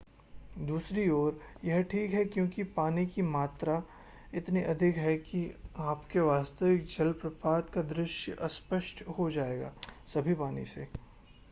दूसरी ओर यह ठीक है क्योंकि पानी की मात्रा इतनी अधिक है कि आपके वास्तविक जलप्रपात का दृश्य अस्पष्ट हो जाएगा सभी पानी से